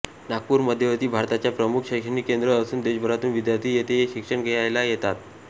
नागपूर मध्यवर्ती भारताच्या प्रमुख शैक्षणिक केंद्र असून देशभरातून विद्यार्थी येथे शिक्षण घ्यायला येतात